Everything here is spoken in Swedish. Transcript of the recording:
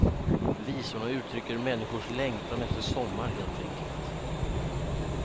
Visorna uttrycker människors längtan efter sommar helt enkelt.